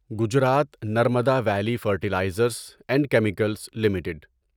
Gujarat Narmada Valley Fertilizers and Chemicals limited